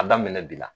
A daminɛ bi la